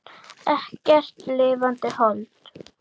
Ekkert lifandi hold.